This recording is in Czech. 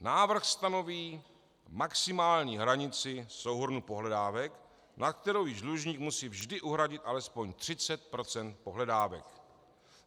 Návrh stanoví maximální hranici souhrnu pohledávek, na kterou již dlužník musí vždy uhradit alespoň 30 % pohledávek.